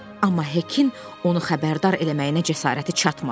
amma Hekin onu xəbərdar eləməyinə cəsarəti çatmadı.